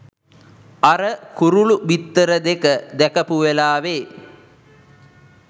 අර කුරුළු බිත්තර දෙක දැකපු වෙලාවෙ